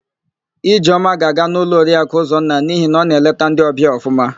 Ijeọma ga-aga n'ụlọ Oriaku Ụzọnna n'ihi na ọ na-eleta ndị ọbịa ọfụma.